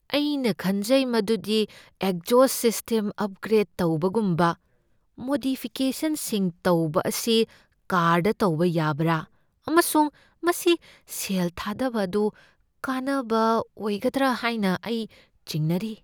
ꯑꯩꯅ ꯈꯟꯖꯩ ꯃꯗꯨꯗꯤ ꯑꯦꯒꯖꯣꯁꯠ ꯁꯤꯁ꯭ꯇꯦꯝ ꯑꯄꯒ꯭ꯔꯦꯗ ꯇꯧꯕꯒꯨꯝꯕ ꯃꯣꯗꯤꯐꯤꯀꯦꯁꯟꯁꯤꯡ ꯇꯧꯕ ꯑꯁꯤ ꯀꯥꯔꯗ ꯇꯧꯕ ꯌꯥꯕꯔꯥ ꯑꯃꯁꯨꯡ ꯃꯁꯤ ꯁꯦꯜ ꯊꯥꯗꯕ ꯑꯗꯨ ꯀꯥꯟꯅꯕ ꯑꯣꯏꯒꯗ꯭ꯔꯥ ꯍꯥꯏꯅ ꯑꯩ ꯆꯤꯡꯅꯔꯤ ꯫